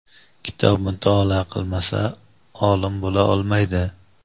kitob mutolaa qilmasa olim bo‘la olmaydi.